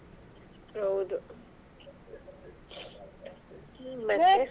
ಹೌದು ಮತ್ತೆ.